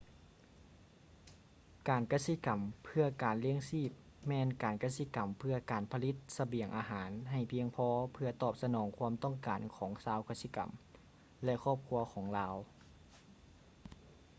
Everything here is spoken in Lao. ການກະສິກຳເພື່ອການລ້ຽງຊີບແມ່ນການກະສິກຳເພື່ອການຜະລິດສະບຽງອາຫານໃຫ້ພຽງພໍເພື່ອຕອບສະໜອງຄວາມຕ້ອງການຂອງຊາວກະສິກຳ ແລະ ຄອບຄົວຂອງລາວ